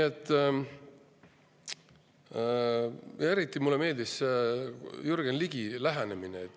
Eriti meeldis mulle Jürgen Ligi lähenemine.